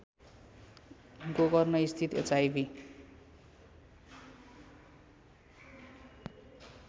गोकर्णस्थित HIV